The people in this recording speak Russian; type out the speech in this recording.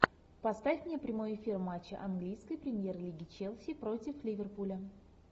поставь мне прямой эфир матча английской премьер лиги челси против ливерпуля